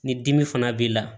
Ni dimi fana b'i la